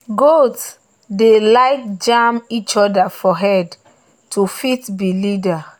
goats dey like jam each other for head to fit be leader.